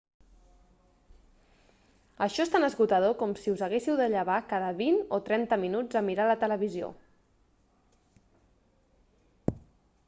això és tan esgotador com si us haguéssiu de llevar cada vint o trenta minuts a mirar la televisió